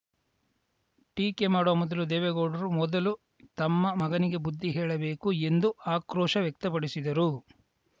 ಟೀಕೆ ಮಾಡುವ ಮೊದಲು ದೇವೇಗೌಡರು ಮೊದಲು ತಮ್ಮ ಮಗನಿಗೆ ಬುದ್ಧಿ ಹೇಳಬೇಕು ಎಂದು ಆಕ್ರೋಶ ವ್ಯಕ್ತಪಡಿಸಿದರು